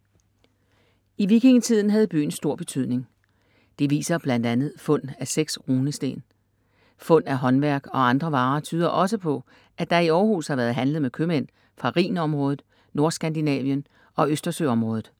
I vikingetiden havde byen stor betydning. Det viser blandt andet fund af seks runesten. Fund af håndværk og andre varer tyder også på, at der i Århus har været handlet med købmænd fra Rhinområdet, Nordskandinavien og Østersøområdet.